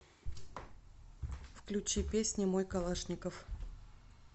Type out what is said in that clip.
включи песня мой калашников